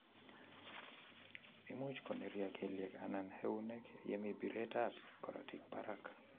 Imucch konerya kelyek anan eunek yaa mii biret ab korotik barack